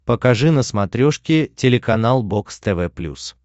покажи на смотрешке телеканал бокс тв плюс